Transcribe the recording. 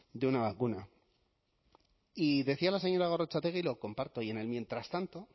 de una vacuna y decía la señora gorrotxategi y lo comparto y en el mientras tanto